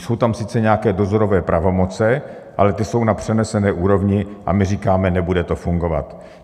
Jsou tam sice nějaké dozorové pravomoce, ale ty jsou na přenesené úrovni a my říkáme: Nebude to fungovat.